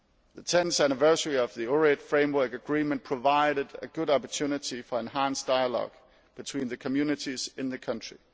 The tenth anniversary of the Ohrid Framework Agreement provided a good opportunity for enhanced dialogue between the communities in the country.